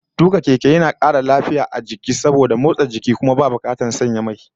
Tuka keke yana da kara lafiya da motsa jiki, kuma babu bukatar sanya mai. Sai dai rashin sauri